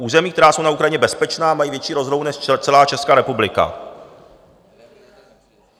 Území, která jsou na Ukrajině bezpečná, mají větší rozlohu než celá Česká republika!